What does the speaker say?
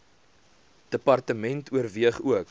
department oorweeg ook